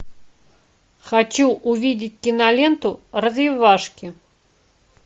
хочу увидеть киноленту развивашки